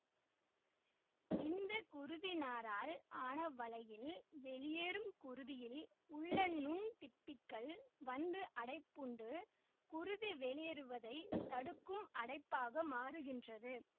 இந்த குருதிநாரால் ஆன வலையில் வெளியேறும் குருதியில் உள்ள நுண்திப்பிகள் வந்து அடைப்புண்டு குருதி வெளியேறுவதை தடுக்கும் அடைப்பாக மாறுகின்றது